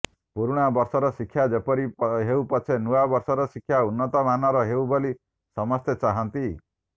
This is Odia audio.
ପୁରୁଣା ବର୍ଷର ଶିକ୍ଷା ଯେପରି ହେଉ ପଛେ ନୂଆ ବର୍ଷର ଶିକ୍ଷା ଉନ୍ନତ ମାନର ହେଉ ବୋଲି ସମସ୍ତେ ଚାହାଁନ୍ତି